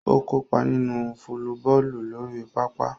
O kopa ninu folliboolu lori papa.